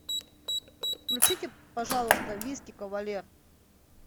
включите пожалуйста виски кавалер